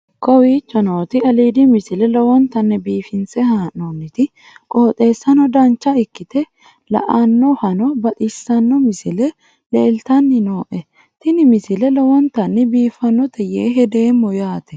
kowicho nooti aliidi misile lowonta biifinse haa'noonniti qooxeessano dancha ikkite la'annohano baxissanno misile leeltanni nooe ini misile lowonta biifffinnote yee hedeemmo yaate